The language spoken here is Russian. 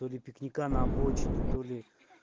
то ли пикника на обочине то ли